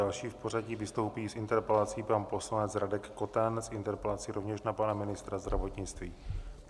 Další v pořadí vystoupí s interpelací pan poslanec Radek Koten, s interpelací rovněž na pana ministra zdravotnictví.